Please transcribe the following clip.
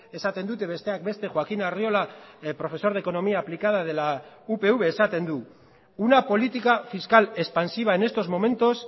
esaten dute besteak beste joaquín arriola profesor de economía aplicada de la upv esaten du una política fiscal expansiva en estos momentos